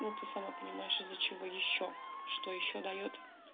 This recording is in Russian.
ну ты сама понимаешь из-за чего ещё что ещё даёт